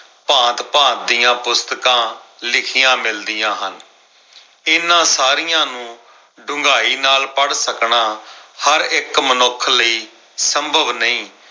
ਭਾਂਤ-ਭਾਂਤ ਦੀਆਂ ਪੁਸਤਕਾਂ ਲਿਖੀਆਂ ਮਿਲਦੀਆਂ ਹਨ। ਇਨ੍ਹਾਂ ਸਾਰੀਆਂ ਨੂੰ ਡੂੰਘਾਈ ਨਾਲ ਪੜ੍ਹ ਸਕਣਾ, ਹਰ ਇੱਕ ਮਨੁੱਖ ਲਈ ਸੰਭਵ ਨਈ।